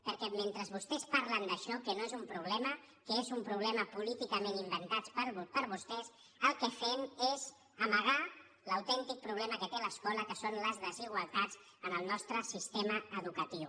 perquè mentre vostès parlen d’això que no és un problema que és un problema política·ment inventat per vostès el que fem és amagar l’autèn·tic problema que té l’escola que són les desigualtats en el nostre sistema educatiu